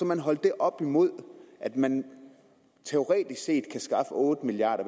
man holdt det op imod at man teoretisk set kan skaffe otte milliard